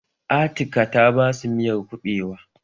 Atika ta basu miyar kuɓewa